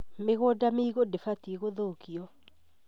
Mĩgũnda mĩigũ ndĩbatiĩ gũthũkio